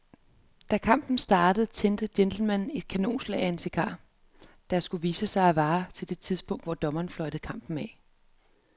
Da kampen startede tændte gentlemanen et kanonslag af en cigar, der, skulle det vise sig, varede til det tidspunkt, hvor dommeren fløjtede kampen af.